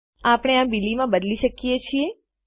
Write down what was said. આપણે આ બિલી માં બદલી શકીએ છીએ